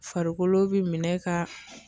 Farikolo be minɛ ka